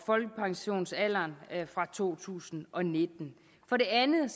folkepensionsalderen fra to tusind og nitten for det andet